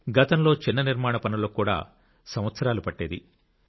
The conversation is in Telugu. గతంలో చిన్న నిర్మాణ పనులకు కూడా సంవత్సరాలు పట్టేది